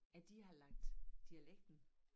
At de har lagt dialekten